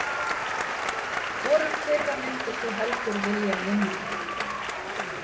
Hvorum þeirra myndir þú heldur vilja vinna með?